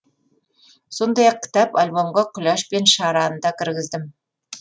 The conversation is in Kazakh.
сондай ақ кітап альбомға күләш пен шараны да кіргіздім